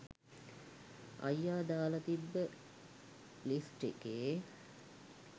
අයියා දාලා තිබ්බ ලිස්ට් එකේ